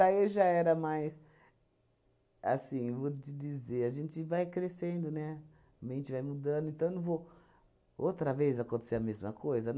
aí já era, mas... Assim, vou te dizer, a gente vai crescendo, né, a mente vai mudando, então não vou... Outra vez acontecer a mesma coisa?